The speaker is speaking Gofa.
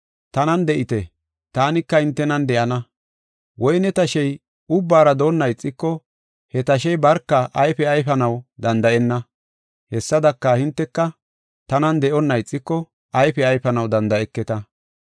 Tanan de7ite; taanika hintenan de7ana. Woyne tashey ubbara doona ixiko he tashey barka ayfe ayfanaw danda7enna. Hessadaka, hinteka tanan de7onna ixiko ayfe ayfanaw danda7eketa.